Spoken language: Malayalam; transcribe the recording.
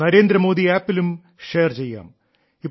നരേന്ദ്രമോദി ആപ്പിലും ഷെയർ ചെയ്യാം